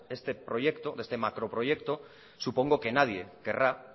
de este proyecto de este macroproyecto supongo que nadie querrá